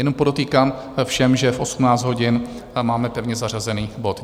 Jenom podotýkám všem, že v 18 hodin máme pevně zařazený bod.